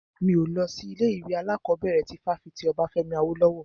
Mi ò lọ sí ilé ìwé alákọ̀bẹ̀rẹ̀ ti fáfitì Obafemi Awolowo.